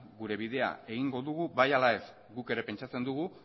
gure bidea egingo dugu bai ala ez guk ere pentsatzen dugu